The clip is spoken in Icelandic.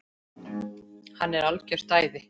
Hann er algert æði!